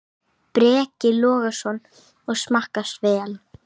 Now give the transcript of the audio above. Breki Logason: Og smakkast vel?